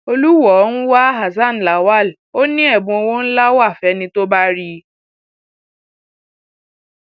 olùwọọ ń wá hasan lawal ò ní ẹbùn owó ńlá wa fẹni tó bá rí i